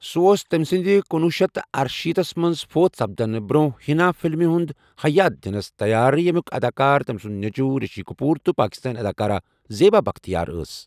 سُہ اوس تمہِ سندِ کُنوُہ شیٚتھ تہٕ ارشیتھ تھس منز فوت سپدنہٕ برونہہ حنا فلمہ ہُن ہیایت دِنس تیار یمِكِ اداكار تم سُند نیچوٗو رِشی كپوٗر تہٕ پاكِستٲنہِ اداكارہ زیبا بختیار ٲس ۔